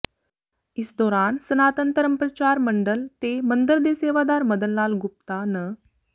ਇਸ ਦੌਰਾਨ ਸਨਾਤਨ ਧਰਮ ਪ੍ਰਚਾਰ ਮੰਡਲ ਤੇ ਮੰਦਰ ਦੇ ਸੇਵਾਦਾਰ ਮਦਨ ਲਾਲ ਗੁਪਤਾ ਨ